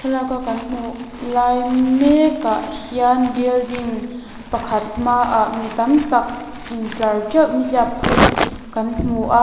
thlalaka kan hmuh lai mekah hian building pakhat hmaah mi tamtak intlar teuh nihliap khum kan hmu a.